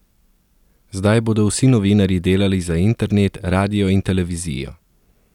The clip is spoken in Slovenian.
Zdaj bodo vsi novinarji delali za internet, radio in televizijo.